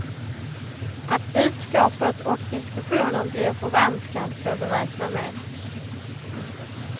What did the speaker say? Att budskapet och diskussionen blir förvanskad får vi räkna med.